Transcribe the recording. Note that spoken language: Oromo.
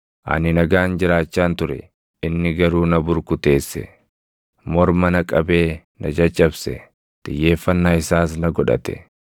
Ani nagaan jiraachaan ture; inni garuu na burkuteesse; morma na qabee na caccabse. Xiyyeeffannaa isaas na godhate;